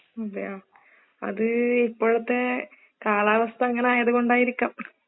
അതെയാ, അത് ഇപ്പോഴെത്തെ കാലവസ്ഥ അങ്ങനെ ആയത് കൊണ്ടായിരിക്കാം.